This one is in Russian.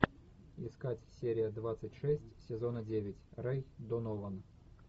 искать серия двадцать шесть сезона девять рэй донован